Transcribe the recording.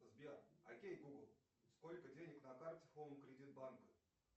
сбер окей гугл сколько денег на карте хоум кредит банка